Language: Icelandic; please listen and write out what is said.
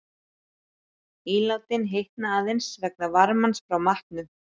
Ílátin hitna aðeins vegna varmans frá matnum.